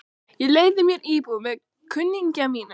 Ég leigði mér íbúð með kunningja mínum.